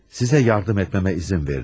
Sizə yardım etməyimə izin veriniz.